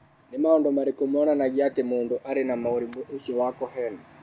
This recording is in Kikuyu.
Nĩ maũndũ marĩkũ monanagia atĩ mũndũ arĩ na mũrimũ ũcio wa Cohen ?